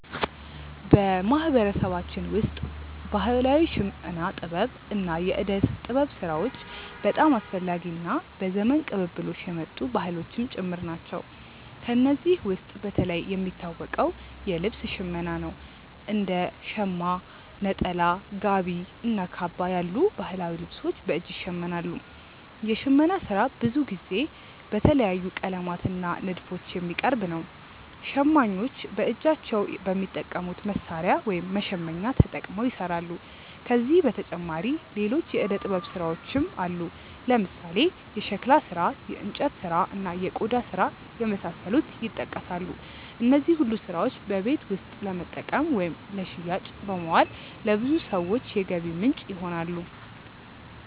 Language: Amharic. በማህበረሰባችን ውስጥ ባህላዊ የሽመና ጥበብ እና የእደ ጥበብ ስራዎች በጣም አስፈላጊ እና በዘመን ቅብብሎሽ የመጡ ባህሎችም ጭምር ናቸው። ከእነዚህ ውስጥ በተለይ የሚታወቀው የልብስ ሽመና ነው፤ እንደ ሻማ (ሸማ)፣ ነጠላ፣ ጋቢ እና ካባ ያሉ ባህላዊ ልብሶች በእጅ ይሸመናሉ። የሽመና ስራ ብዙ ጊዜ በተለያዩ ቀለማት እና ንድፎች የሚቀርብ ነው። ሸማኞች በእጃቸው በሚጠቀሙት መሣሪያ (መሸመኛ)ተጠቅመው ይሰራሉ። ከዚህ በተጨማሪ ሌሎች የእደ ጥበብ ስራዎችም አሉ፦ ለምሳሌ የሸክላ ስራ፣ የእንጨት ስራ፣ እና የቆዳ ስራ የመሳሰሉት ይጠቀሳሉ። እነዚህ ሁሉ ስራዎች በቤት ውስጥ ለመጠቀም ወይም ለሽያጭ በማዋል ለብዙ ሰዎች የገቢ ምንጭ ይሆናሉ።